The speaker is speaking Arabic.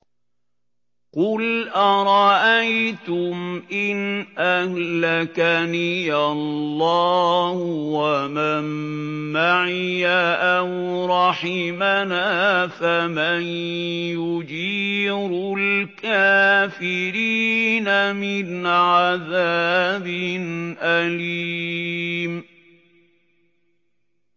قُلْ أَرَأَيْتُمْ إِنْ أَهْلَكَنِيَ اللَّهُ وَمَن مَّعِيَ أَوْ رَحِمَنَا فَمَن يُجِيرُ الْكَافِرِينَ مِنْ عَذَابٍ أَلِيمٍ